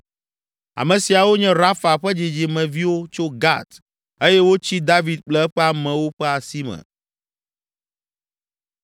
Ame siawo nye Rafa ƒe dzidzime viwo tso Gat eye wotsi David kple eƒe amewo ƒe asi me.